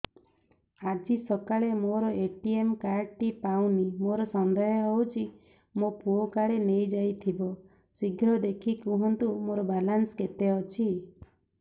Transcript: ଆଜି ସକାଳେ ମୋର ଏ.ଟି.ଏମ୍ କାର୍ଡ ଟି ପାଉନି ମୋର ସନ୍ଦେହ ହଉଚି ମୋ ପୁଅ କାଳେ ନେଇଯାଇଥିବ ଶୀଘ୍ର ଦେଖି କୁହନ୍ତୁ ମୋର ବାଲାନ୍ସ କେତେ ଅଛି